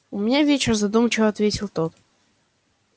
у меня вечер задумчиво ответил тот